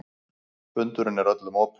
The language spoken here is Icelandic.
Fundurinn er öllum opinn